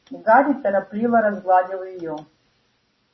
гарри торопливо разгладил её